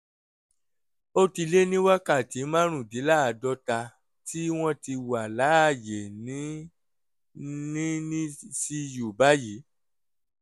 ó ti lé ní wákàtí márùndínláàádọ́ta tí wọ́n ti wà láàyè ní ní nicu báyìí